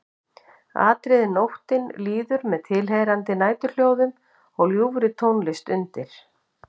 Atriði Nóttin líður með tilheyrandi næturhljóðum og ljúfri tónlist undir.